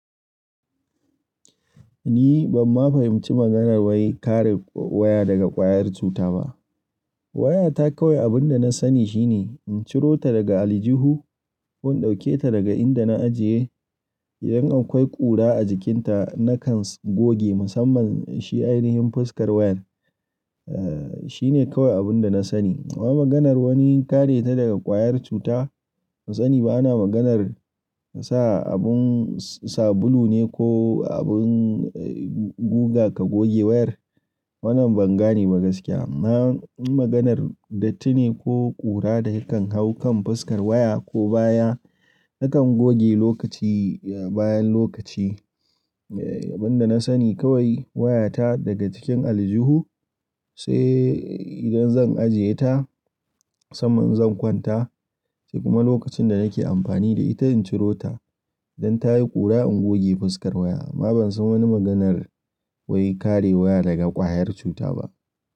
Ni ban ma fahimci maganar wai kare waya daga ƙwayar cuta ba. Wayata kawai abin da na sani shine in ciro ta daga aljihu, in ɗauke ta daga inda na ajiye. Idan akwai ƙura a jikinta, na kan goge musamman shi ainihin fuskar wayar. Eh, shine kawai abin da na sani. Amma maganar wani kare ta daga ƙwayar cuta, fa tsani ba na maganar ka sa abin sabulu ne ko abin guga ka goge wayar. Wannan ban gane ba gaskiya. Na maganar dattune ko ƙura da yakan hau kan fuskar waya ko baya nakan goge lokaci, bayan lokaci. Abin da na sani kawai wayata daga cikin aljihu, sai idan zan ajiye ta saman zan kwanta sai kuma lokacin da nake amfani da ita in ciro ta. Idan ta yi ƙura, in goge fuskar waya. Amma ban san wani maganar wai kare waya daga ƙwayar cuta ba.